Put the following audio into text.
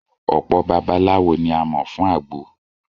Ọ̀pọ babaláwo ni a mọ̀ fún àgbo